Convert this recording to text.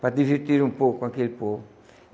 Para divertir um pouco com aquele povo.